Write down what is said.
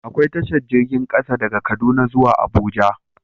Akwai tashar jirgin ƙasa, na daga kaduna zuwa abuja